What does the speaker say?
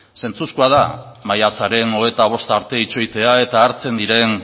zentzuzkoa da maiatzaren hogeita bost arte itxoitea eta hartzen diren